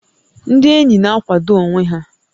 Ndị ényì na-àkwàdó onwé ha